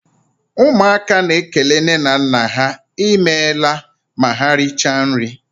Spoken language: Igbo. Ụmụaka na ékélé nne na nna há I meela ma ha richaa nri.